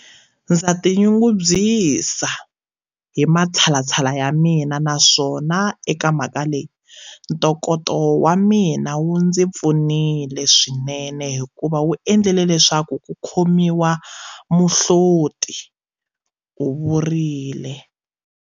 Ndza tinyungubyisa hi matshalatshala ya mina naswona eka mhaka leyi, ntokoto wa mina wu ndzi pfunile swinene hikuva wu endlile leswaku ku khomiwa muhloti, u vurile.